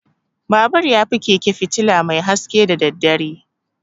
Babur yafi keke fitula mai haske da daddare.